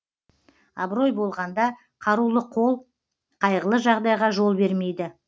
абырой болғанда қарулы қол қайғылы жағдайға жол бермейді